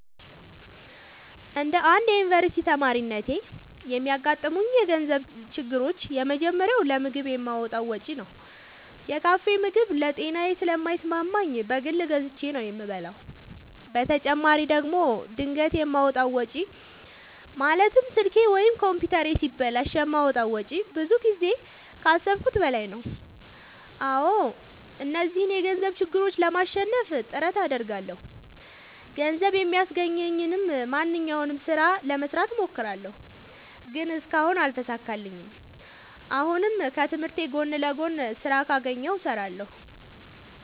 እንደ አንድ ዮኒቨርስቲ ተማሪነቴ የሚያጋጥሙኝ የገንዘብ ችግሮች የመጀመሪያው ለምግብ የማወጣው ወጪ ነው። የካፌ ምግብ ለጤናዬ ስለማይስማማኝ በግል ገዝቼ ነው የምበላው በተጨማሪ ደግሞ ድንገት የማወጣው ወጪ ማለትም ስልኬ ወይም ኮምፒውተሬ ሲበላሽ የማወጣው ወጪ ብዙ ጊዜ ከአሠብኩት በላይ ነው። አዎ እነዚህን የገንዘብ ችግሮች ለማሸነፍ ጥረት አደርጋለሁ። ገንዘብ የሚያስገኘኝን ማንኛውንም ስራ ለመስራት እሞክራለሁ። ግን እስካሁን አልተሳካልኝም። አሁንም ከትምህርቴ ጎን ለጎን ስራ ካገኘሁ እሠራለሁ።